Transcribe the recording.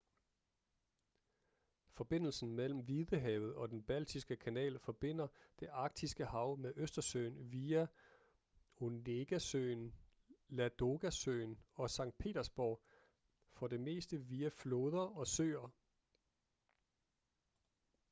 forbindelsen mellem hvidehavet og den baltiske kanal forbinder det arktiske hav med østersøen via onegasøen ladogasøen og sankt petersborg for det meste via floder og søer